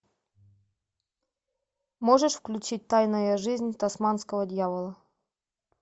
можешь включить тайная жизнь тасманского дьявола